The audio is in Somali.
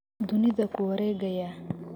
Dunida kuwaregaya.